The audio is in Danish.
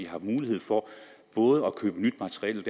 har mulighed for både at købe nyt materiel